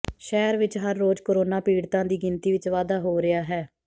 ਸ਼ਹਿਰ ਵਿਚ ਹਰ ਰੋਜ਼ ਕੋਰੋਨਾ ਪੀੜਤਾਂ ਦੀ ਗਿਣਤੀ ਵਿਚ ਵਾਧਾ ਹੋ ਰਿਹਾ ਹੈ